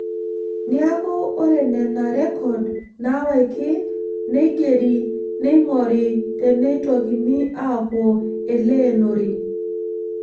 Neeku ore Nena rrekod naawaki neigeri neing'ori teneitokini aapuo Eleenore.